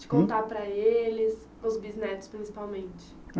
de contar para eles, para os bisnetos principalmente?